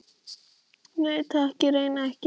Nei, takk, ég reyki ekki